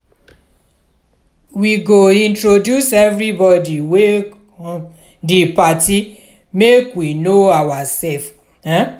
we go introduce everybodi wey come di party make we know oursef. um